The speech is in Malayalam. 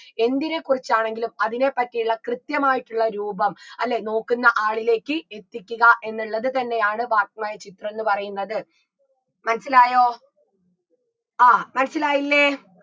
എന്തിനെ കുറിച്ചാണെങ്കിലും അതിനെ പറ്റിയുള്ള കൃത്യമായിട്ടുള്ള രൂപം അല്ലേ നോക്കുന്ന ആളിലേക്ക് എത്തിക്കുക എന്നുള്ളത് തന്നെയാണ് വാക്മയചിത്രംന്ന് പറയുന്നത് മനസ്സിലായോ ആ മനസിലായില്ലേ